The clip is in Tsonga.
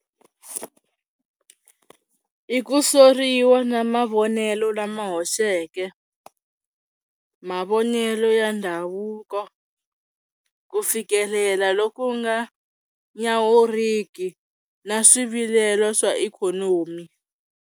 I ku soriwa na mavonelo lama hoxeke, mavonelo ya ndhavuko ku fikelela loku nga nyawuriki na swivilelo swa ikhonomi.